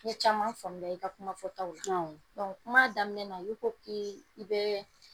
N ye caman faamuya i ka kumafɔtaw la awɔ kuma daminɛ na i ko k'ii i bee